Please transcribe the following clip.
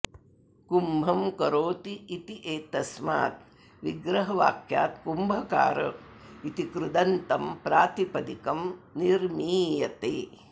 कुम्भं करोति इत्येतस्माद् विग्रहवाक्याद् कुम्भकार इति कृदन्तं प्रातिपदिकं निर्मीयते